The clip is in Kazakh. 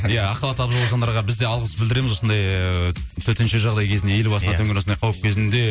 иә ақ халатты абзал жандарға біз де алғыс білдіреміз осындай ыыы төтенше жағдай кезінде ел басына төнген осындай қауіп кезінде